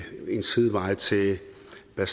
er